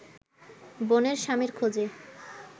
বোনের স্বামীর খোঁজে